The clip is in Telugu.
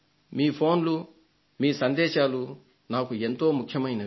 మీ ఫోన్లు మీ సందేశాలు నాకు ఎంతో ముఖ్యమైనవి